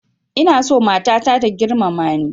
Ina so matata ta girmama ni